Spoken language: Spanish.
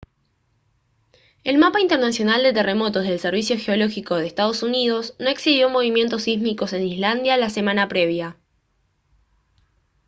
el mapa internacional de terremotos del servicio geológico de ee uu no exhibió movimientos sísmicos en islandia la semana previa